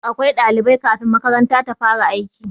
Dole akwai ɗalibai kafin makaranta ta fara aiki